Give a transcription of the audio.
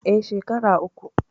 Eh, shekera uku